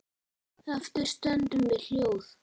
Eftir stöndum við hljóð.